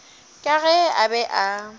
ka ge a be a